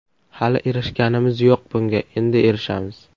Hali erishganimiz yo‘q bunga, endi erishamiz.